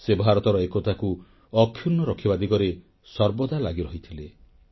ସେ ଭାରତର ଏକତାକୁ ଅକ୍ଷୁର୍ଣ୍ଣ ରଖିବା ଦିଗରେ ସର୍ବଦା ଲାଗିରହିଥିଲେ